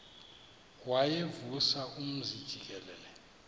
wayevusa umzi jikelele